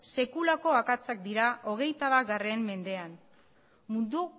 sekulako akatsak dira hogeita bat mendean mundu